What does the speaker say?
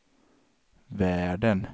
världen